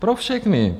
Pro všechny.